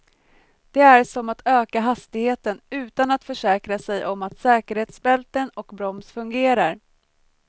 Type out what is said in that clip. Det är som att öka hastigheten utan att försäkra sig om att säkerhetsbälten och broms fungerar.